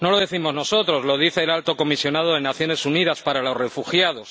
No lo decimos nosotros, lo dice el Alto Comisionado de Naciones Unidas para los Refugiados.